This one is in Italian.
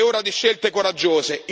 È ora di scelte coraggiose.